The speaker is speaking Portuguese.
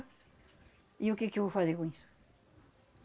E o que que eu vou fazer com isso?